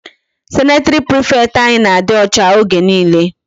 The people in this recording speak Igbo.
Sanitary prefect anyị na-adị ọcha oge niile.